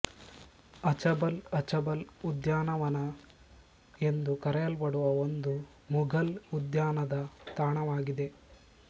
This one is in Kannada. ಅಛಬಲ್ ಅಛಬಲ್ ಉದ್ಯಾನವನ ಎಂದು ಕರೆಯಲ್ಪಡುವ ಒಂದು ಮುಘಲ್ ಉದ್ಯಾನದ ತಾಣವಾಗಿದೆ